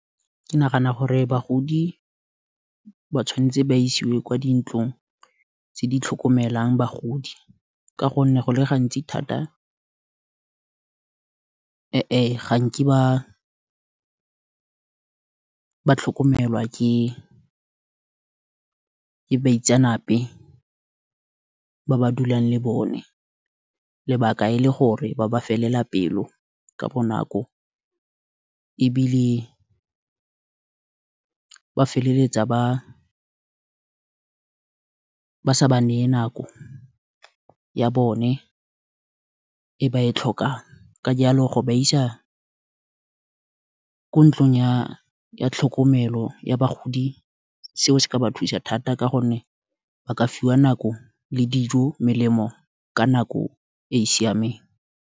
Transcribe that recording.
Ke nagana gore bagodi ba tshwanetse ba isiwe kwa dintlong tse di tlhokomelang bagodi, ka gonne go le gantsi thata, ga nke ba tlhokomelwa ke baitsenape, ba ba dulang le bone, lebaka e le gore, ba ba felela pelo, ka bonako, ebile ba feleletsa ba sa baneye nako ya bone, e ba e tlhokang, ka jalo go ba isa ko ntlong ya tlhokomelo, ya bagodi, seo se ka ba thusa thata, ka gonne ba ka fiwa nako, le dijo, melemo, ka nako e e siameng.